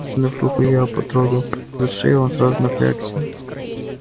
протянув руку я потрогал за шею он сразу напрягся